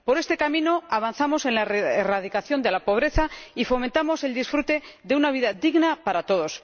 Por este camino avanzamos en la erradicación de la pobreza y fomentamos el disfrute de una vida digna para todos.